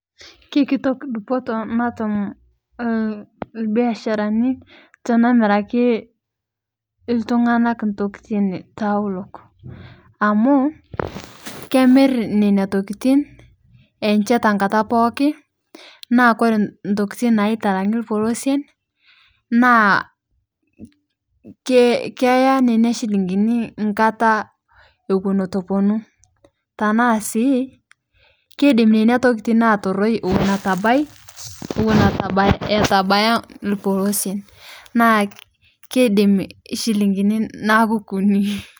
Keikitok dupotoo natum lbiasharani tenemirakii ltung'anak ntokitin taulok amu kemir nenia tokitin enshee tankataa pookin naa kore ntokitin naitalang'i lpolosien naa keyaaa nenia shiling'inii nkata ewon etuu eponuu tanaa sii keidim nenia tokitin ataroi ewon etabai ewon etubaya lpolosien naa keidim shilingini naaku kunii.